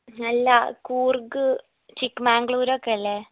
അല്ലാ കൂർഗ് ചിക്ക് മാഗ്ലൂരൊക്കെയല്ലേ